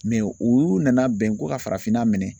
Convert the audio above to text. Mɛ u y'u nana bɛn ko ka farafinna minɛ